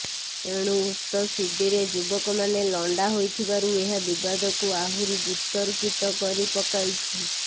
ଏଣୁ ଉକ୍ତ ସିଡିରେ ଯୁବକମାନେ ଲଣ୍ଡା ହୋଇଥିବାରୁ ଏହା ବିବାଦକୁ ଆହୁଛି ବତର୍କିତ କରି ପକାଇଛି